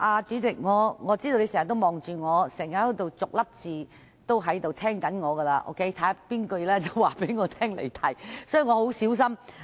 主席，我知道你在盯着我，逐字聆聽我的發言，看看要在何時告知我離題，所以我會很小心發言。